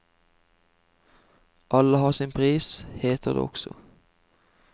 Alle har sin pris, heter det også.